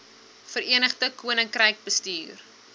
verenigde koninkryk bestuur